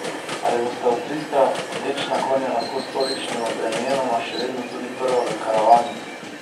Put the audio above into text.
Ali bosta avstrijska vlečna konja lahko s tolikšnima bremenoma še vedno tudi prva v karavani?